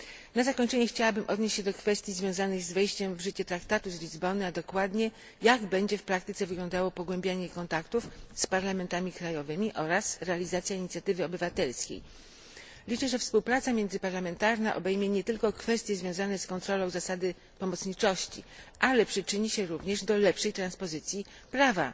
Na zakończenie chciałabym odnieść się do kwestii związanych z wejściem w życie traktatu z Lizbony, a dokładnie, jak będzie w praktyce wyglądało pogłębianie kontaktów z parlamentami krajowymi oraz realizacja inicjatywy obywatelskiej. Liczę, że współpraca międzyparlamentarna obejmie nie tylko kwestie związane z kontrolą zasady pomocniczości, ale przyczyni się również do lepszej transpozycji prawa